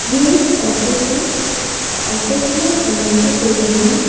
ये एक ऑफिस है ऑफिस में बड़ा सा टेबल है।